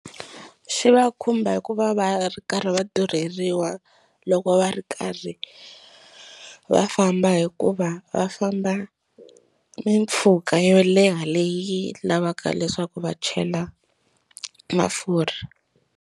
Xi va khumba hikuva va ri karhi va durheliwa loko va ri karhi va famba hikuva va famba mimpfhuka yo leha leyi lavaka leswaku va chela mafurha.